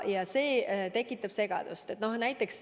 Ja see tekitab segadust.